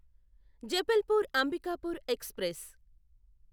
Jabalpur Ambikapur express